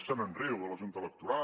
se’n riu de la junta electoral